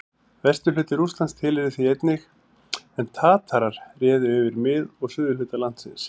Vesturhluti Rússlands tilheyrði því einnig, en Tatarar réðu yfir mið- og suðurhluta landsins.